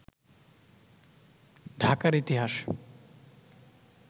ঢাকার ইতিহাস